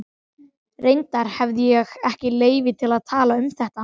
Reyndar hefi ég ekki leyfi til að tala um þetta.